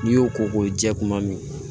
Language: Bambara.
N'i y'o ko k'o jɛ kuma min na